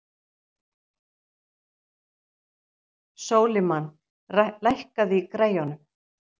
Sólimann, lækkaðu í græjunum.